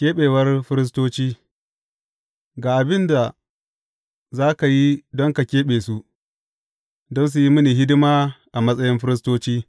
Keɓewar firistoci Ga abin da za ka yi don ka keɓe su, don su yi mini hidima a matsayin firistoci.